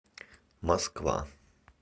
москва